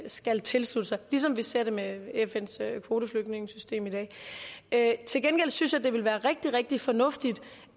skal tilslutte sig ligesom vi ser det med fns kvoteflygtningesystem i dag til gengæld synes jeg det ville være rigtig rigtig fornuftigt